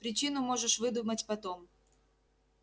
причину можешь выдумать потом